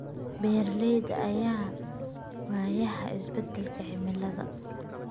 Beeralayda ayaa wajahaya isbeddelka cimilada.